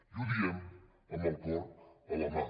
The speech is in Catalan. i ho diem amb el cor a la mà